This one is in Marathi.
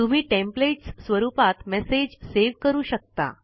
तुम्ही टेम्पलेट्स स्वरुपात मेसेज सेव करू शकता